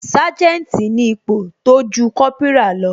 Sanjeti ni ipò tójú Kópírà lọ